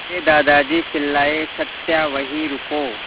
मेरे दादाजी चिल्लाए सत्या वहीं रुको